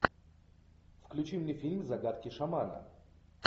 включи мне фильм загадки шамана